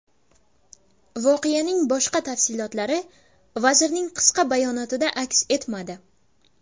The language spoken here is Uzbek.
Voqeaning boshqa tafsilotlari vazirning qisqa bayonotida aks etmadi.